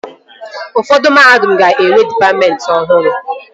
Ụfọdụ mahadum ga-enwe dịpatmentị ọhụrụ